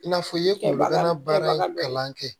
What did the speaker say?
I n'a fɔ i ye baara kalan kɛ